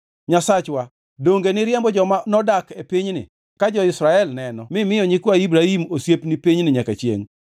Nyasachwa, donge niriembo joma nodak e pinyni ka jo-Israel neno mimiyo nyikwa Ibrahim osiepni pinyni nyaka chiengʼ?